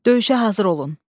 Döyüşə hazır olun.